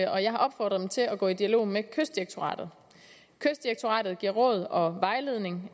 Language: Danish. og jeg har opfordret dem til at gå i dialog med kystdirektoratet kystdirektoratet giver råd og vejledning